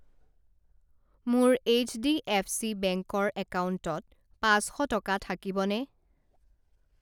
মোৰ HDFC bank ৰ একাউণ্টত পাঁচ শ টকা থাকিবনে?